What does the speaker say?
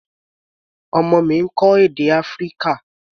Ọmọ mi ń kọ́ èdè Áfíríkà.